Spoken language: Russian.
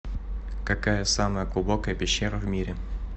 какая самая глубокая пещера в мире